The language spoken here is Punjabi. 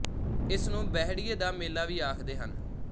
ਇਸ ਨੂੰ ਬਹਿੜੀਏ ਦਾ ਮੇਲਾ ਵੀ ਆਖਦੇ ਹਨ